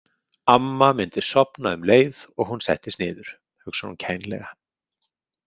Amma myndi sofna um leið og hún settist niður, hugsar hún kænlega.